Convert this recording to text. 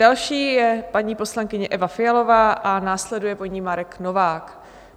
Další je paní poslankyně Eva Fialová a následuje po ní Marek Novák.